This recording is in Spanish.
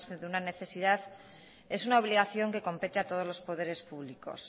de una necesidad es una obligación que compete a todos los poderes públicos